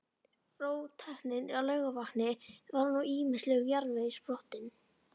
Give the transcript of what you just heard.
Róttæknin á Laugarvatni var úr ýmislegum jarðvegi sprottin.